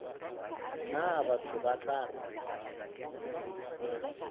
nna batho ba tla re